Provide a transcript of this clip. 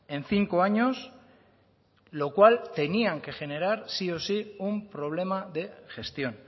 en cinco años lo cual tenían que generar sí o sí un problema de gestión